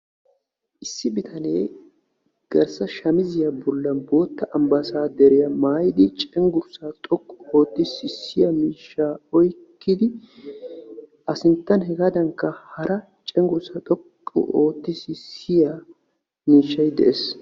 Issi bitanee garssa shamiziyaa bollan bootta ambbaasaaderiyaa maayidi cenggurssaa xoqqu ootti sissiyaa miishshaa oyqqidi A sinttan hegaadankka hara cenggurssaa xoqqu ootti sissiyaa miishshay de'ees.